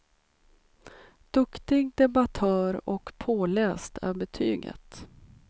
Duktig debattör och påläst är betyget.